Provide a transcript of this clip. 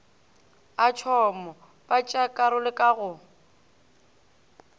a tšhomo batšeakarolo ka go